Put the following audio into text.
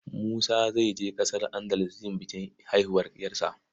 Musa zai je ƙasar Andalus yin bikin haihuwar 'yarsa.